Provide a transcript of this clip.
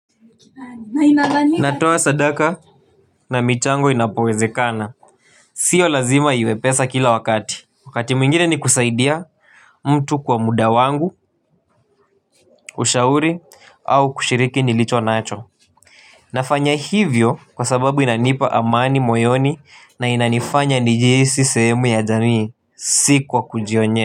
Natoa sadaka na michango inapowezekana. Sio lazima iwe pesa kila wakati. Wakati mwingine ni kusaidia mtu kwa muda wangu, ushauri au kushiriki nilicho nacho. Nafanya hivyo kwa sababu inanipa amani moyoni na inanifanya nijihisi sehemu ya jamii si kwa kujionye.